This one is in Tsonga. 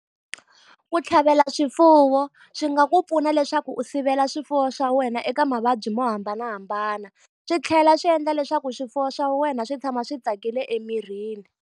Ku tlhavela swifuwo swi nga ku pfuna leswaku u sivela swifuwo swa wena eka mavabyi mo hambanahambana. Swi tlhela swi endla leswaku swifuwo swa wena swi tshama swi tsakile emirini.